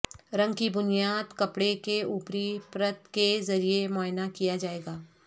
رنگ کی بنیاد کپڑے کے اوپری پرت کے ذریعہ معائنہ کیا جائے گا